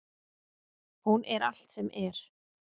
Hún er allt sem er.